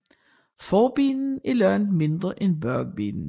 Forbenene er langt mindre end bagbenene